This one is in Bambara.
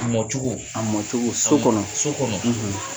Mɔ cogo , a mɔ cogo so kɔnɔ ,so kɔnɔ.